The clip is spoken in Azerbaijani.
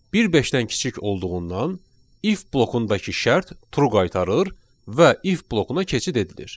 Bir beşdən kiçik olduğundan if blokundakı şərt true qaytarır və if blokuna keçid edilir.